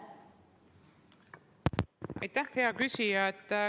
Aitäh, hea küsija!